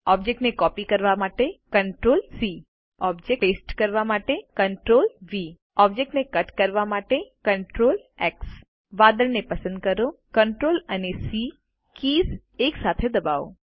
ઓબ્જેક્ટને કોપી કરવા માટે Ctrl સી ઓબ્જેક્ટને પેસ્ટ કરવા માટે Ctrl વી ઓબ્જેક્ટને કટ કરવા માટે Ctrl એક્સ વાદળને પસંદ કરો અને CTRL અને સી કીઝ એકસાથે દબાવો